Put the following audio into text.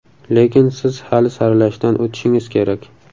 Lekin siz hali saralashdan o‘tishingiz kerak.